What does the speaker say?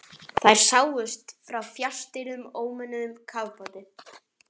Þær sáust frá fjarstýrðum ómönnuðum kafbáti.